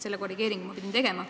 Selle korrigeeringu pidin ma tegema.